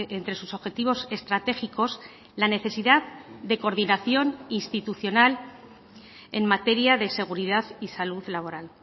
entre sus objetivos estratégicos la necesidad de coordinación institucional en materia de seguridad y salud laboral